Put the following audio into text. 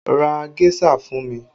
Ra géṣà fún mi!